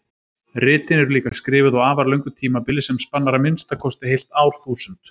Ritin eru líka skrifuð á afar löngu tímabili sem spannar að minnsta kosti heilt árþúsund.